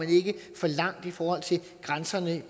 for langt i forhold til grænserne